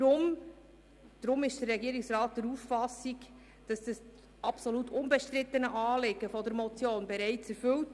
Deshalb ist der Regierungsrat der Auffassung, das absolut unbestrittene Anliegen der Motion sei heute bereits erfüllt.